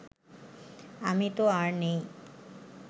আমি তো আর নাই